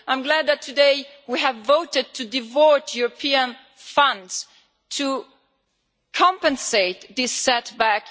I am glad that today we have voted to devote European funds to compensate for this setback.